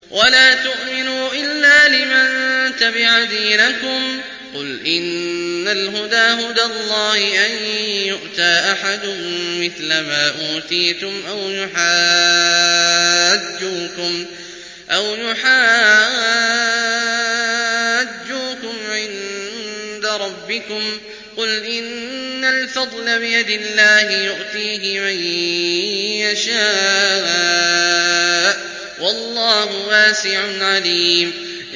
وَلَا تُؤْمِنُوا إِلَّا لِمَن تَبِعَ دِينَكُمْ قُلْ إِنَّ الْهُدَىٰ هُدَى اللَّهِ أَن يُؤْتَىٰ أَحَدٌ مِّثْلَ مَا أُوتِيتُمْ أَوْ يُحَاجُّوكُمْ عِندَ رَبِّكُمْ ۗ قُلْ إِنَّ الْفَضْلَ بِيَدِ اللَّهِ يُؤْتِيهِ مَن يَشَاءُ ۗ وَاللَّهُ وَاسِعٌ عَلِيمٌ